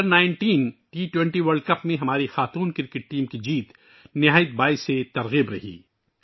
under 19، T 20 world cup میں ہماری خواتین کرکٹ ٹیم کی جیت بہت متاثر کن رہی ہے